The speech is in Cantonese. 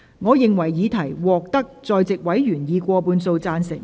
我認為議題獲得在席委員以過半數贊成。